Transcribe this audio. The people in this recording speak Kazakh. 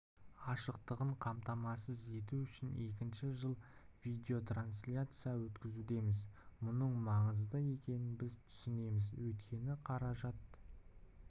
ашықтығын қамтамасыз ету үшін екінші жыл видеотрансляция өткізудеміз мұның маңызды екенін біз түсінеміз өйткені қаражат